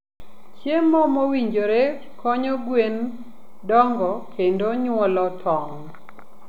Chiemo mowinjore konyo gwen dongo kendo nyuolo tong'.